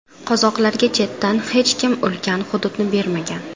Qozoqlarga chetdan hech kim ulkan hududni bermagan.